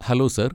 Hello sir!